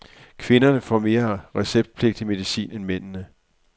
Kvinderne får mere receptpligtig medicin end mændene.